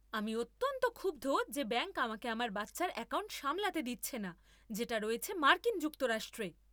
আমি অত্যন্ত ক্ষুব্ধ যে ব্যাংক আমাকে আমার বাচ্চার অ্যাকাউন্ট সামলাতে দিচ্ছে না যেটা রয়েছে মার্কিন যুক্তরাষ্ট্রে।